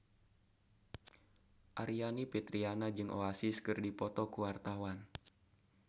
Aryani Fitriana jeung Oasis keur dipoto ku wartawan